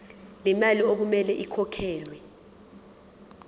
lemali okumele ikhokhelwe